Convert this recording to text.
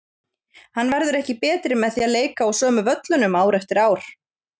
Hann verður ekki betri með því að leika á sömu völlunum ár eftir ár.